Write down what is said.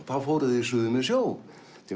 þá fóru þeir suður með sjó til